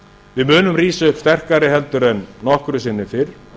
við munum rísa upp sterkari heldur en nokkru sinni fyrr